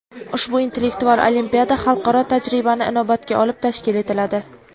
ushbu intellektual olimpiada xalqaro tajribani inobatga olib tashkil etiladi.